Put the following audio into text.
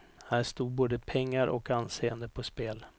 Här stod både pengar och anseende på spel.